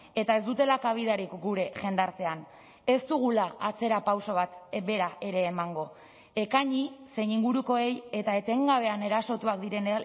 eta ez dutela kabidarik gure jendartean ez dugula atzerapauso bat bera ere emango ekaini zein ingurukoei eta etengabean erasotuak diren